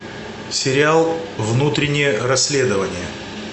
сериал внутреннее расследование